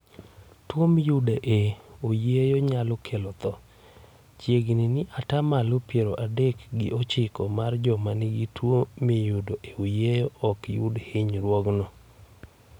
Tuo miyudo e oyieyo nyalo kelo tho; chiegni ni ata malo piero adek gi ochiko mar joma nigi tuo miyudo e oyieyo ok yud hinyruokno.